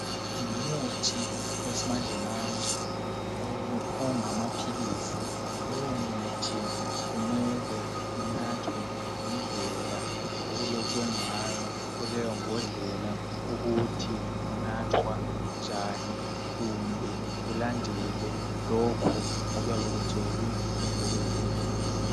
Ngumuthi owesimanjemanje ongamaphilizi, lowo muthi kumele unathwe ngedlela okulotshwe ngayo kuleyo mbondlela ukuthi unathwa njani kumbe ulandele lokhu oyabekutshelwe ngudokotela.